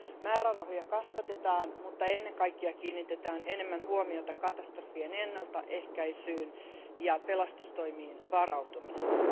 Määrärahoja kasvatetaan, mutta ennen kaikkea kiinnitetään enemmän huomiota katastrofien ennaltaehkäisyyn ja pelastustoimiin varautumiseen.